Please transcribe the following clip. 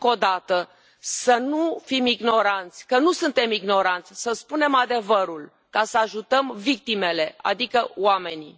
Încă o dată să nu fim ignoranți, că nu suntem ignoranți, să spunem adevărul, ca să ajutăm victimele, adică oamenii.